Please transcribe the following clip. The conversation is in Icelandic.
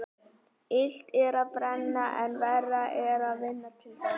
Illt er að brenna en verra er að vinna til þess.